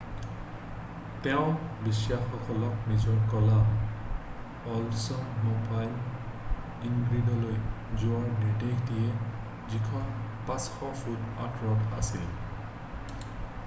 তেওঁ বিষয়াসকলক নিজৰ ক'লা অল্ডছম'বাইল ইণ্ট্ৰিগলৈ যোৱাৰ নিৰ্দেশ দিয়ে যিখন 500 ফুট আঁতৰত আছিল